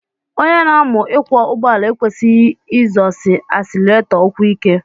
Onye na-amu ịkwọ ụgbọala ekwesighi izọsi asileretọ ụkwụ ike.